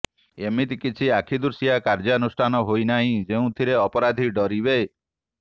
ଏମିତି କିଛି ଆଖିଦୃଶିଆ କାର୍ଯ୍ୟାନୁଷ୍ଠାନ ହୋଇନାହିଁ େଯଉଁଥିରେ ଅପରାଧୀ ଡରିବେ